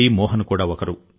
మోహన్ కూడా ఒకరు